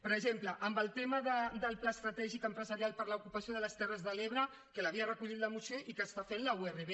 per exemple en el tema del pla estratègic empresarial i per a l’ocupació de les terres de l’ebre que l’havia recollit la moció i que està fent la urv